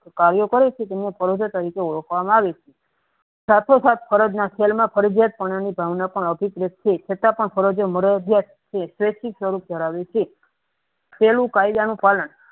કર્યો કરે છે તેને પરોજય તરીકે ઓળખવામાં આવે છે સટોસટ ફરજમાં ફરજીયાત અનુભવ છે છતાં પણ ફરજો મરજિયાત છે કેળું કાયદાને ફળ